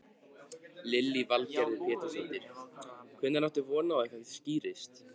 Lillý Valgerður Pétursdóttir: Hvenær áttu von á að eitthvað skýrist?